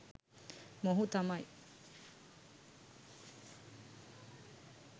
මොහු තමයි